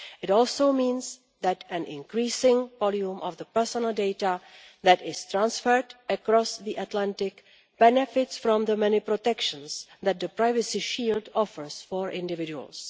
It also means that an increasing volume of the personal data that is transferred across the Atlantic benefits from the many protections that the privacy shield offers for individuals.